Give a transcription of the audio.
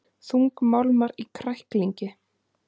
Þungmálmar í kræklingi